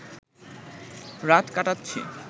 রাত কাটাচ্ছি